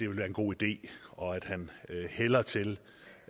være en god ide og at han hælder til